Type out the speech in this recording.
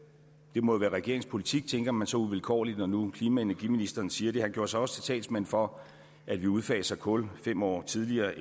det må jo være regeringens politik tænker man så uvilkårligt når nu klima og energiministeren siger det han gjorde sig også til talsmand for at vi udfaser kul fem år tidligere